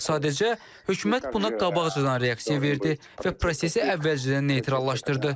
Sadəcə hökumət buna qabaqcadan reaksiya verdi və prosesi əvvəlcədən neytrallaşdırdı.